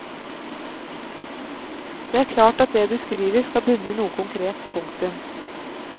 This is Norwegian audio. Det er klart at det du skriver skal bunne i noe konkret. punktum